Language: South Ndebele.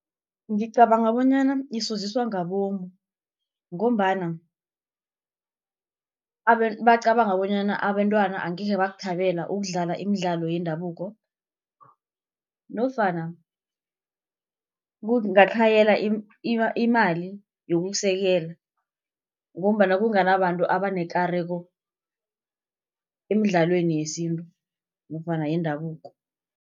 Ngicabanga bonyana isoziswa ngabomu, ngombana bacabanga bonyana abentwana angekhe bakuthabela ukudlala imidlalo yendabuko, nofana kungatlhayela imali yokusekela, ngombana kunganabantu abanekareko emidlalweni yesintu nofana yendabuko.